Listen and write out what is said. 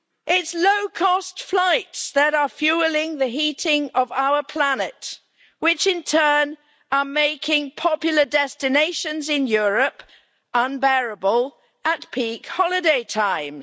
It's low cost flights that are fuelling the heating of our planet, which in turn is making popular destinations in Europe unbearable at peak holiday times.